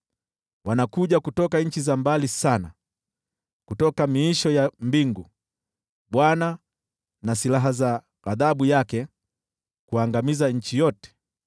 Wanakuja kutoka nchi za mbali sana, kutoka miisho ya mbingu, Bwana na silaha za ghadhabu yake, kuangamiza nchi yote.